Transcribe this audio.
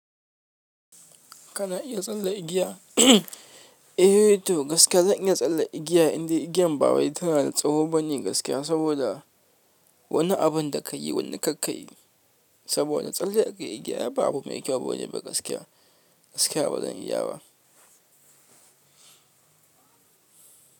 Kana iya tsalle igiya? Eh to gaskiya zan iya tsalle igiya indai igiyan ba wai tana da tsawo bane gaskiya saboda wani abun da ka yi, gwanda kar ka yi. Saboda tsalle a kan igiya ba abu mai kyau bane ba gaskiya. Gaskiya ba zan iya ba.